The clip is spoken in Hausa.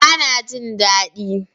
Bana jin dadi